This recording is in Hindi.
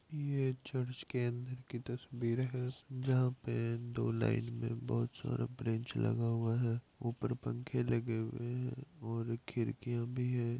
ये चर्च के अंदर की तस्वीर हैं जहाँ पे दो लाइन में बहोत सारा ब्रेंच लगा हुआ हैं ऊपर पंखे लगे हुए हैं और खिड़किया भी हैं।